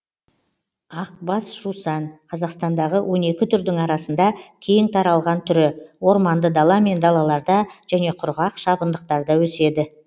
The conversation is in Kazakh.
ақбас жусан қазақстандағы он екі түрдің арасында кең таралған түрі орманды дала мен далаларда және құрғақ шабындықтарда өседі